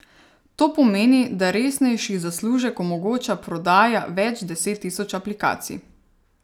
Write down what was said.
To pomeni, da resnejši zaslužek omogoča prodaja več deset tisoč aplikacij.